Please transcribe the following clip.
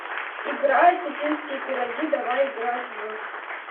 игра осетинские пироги давай играть в